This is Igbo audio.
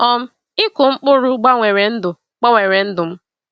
um Ịkụ mkpụrụ gbanwere ndụ gbanwere ndụ m.